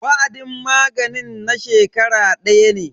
Wa'adin maganin na shekara daya ne.